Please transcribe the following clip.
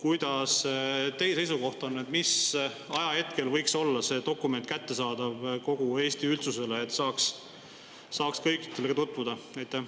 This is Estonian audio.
Milline teie seisukoht on, mis ajahetkel võiks olla see dokument kättesaadav kogu Eesti üldsusele, et kõik saaksid sellega tutvuda?